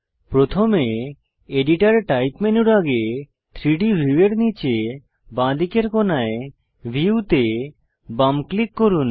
প্রথমে editor type মেনুর আগে 3ডি ভিউয়ের নীচে বাঁদিকের কোণায় ভিউ তে বাম ক্লিক করুন